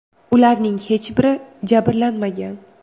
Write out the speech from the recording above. Ularning hech biri jabrlanmagan.